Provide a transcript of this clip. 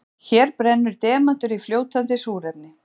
Hér brennur demantur í fljótandi súrefni.